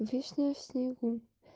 вишня в снегу